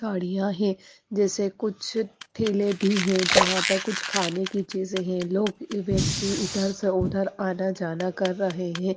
गाड़ियां हैं जैसे कुछ ठेले भी है जहां पर कुछ खाने की चीजें है लोग व्यक्ति इधर से उधर आना जाना कर रहे हैं।